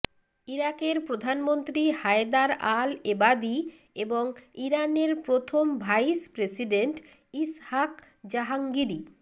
ইরাকের প্রধানমন্ত্রী Haider al Abadi এবং ইরানের প্রথম ভাইস প্রেসিডেন্ট ইসহাক জাহাঙ্গিরি